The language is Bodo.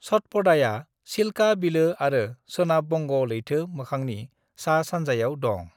सतपदाया चिल्का बिलो आरो सोनाब बंग लैथो मोखांनि सा-सानजायाव दं।